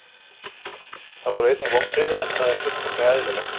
Það voru einnig vonbrigði en það er fullkomlega eðlilegt.